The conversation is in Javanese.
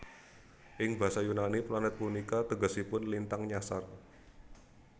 Ing basa Yunani planet punika tegesipun lintang nyasar